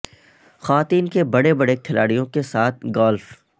خواتین کے بڑے بڑے بڑے کھلاڑیوں کے ساتھ گالف